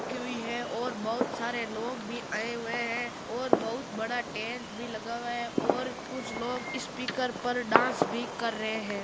खी हुई है और बहूत सारे लोग भी आए हुए है और बहूत बड़ा टेंट भी लगा हुआ हैं और कुछ लोग स्पीकर पर डांस भी कर रहे हैं।